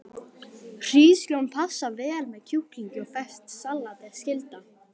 Hrísgrjón passa vel með kjúklingi og ferskt salat er skylda.